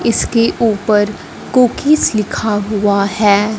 इसके ऊपर कुकीज लिखा हुआ है।